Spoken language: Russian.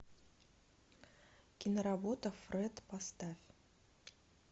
киноработа фред поставь